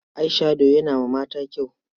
Eye-shadow yana ma mata kyau.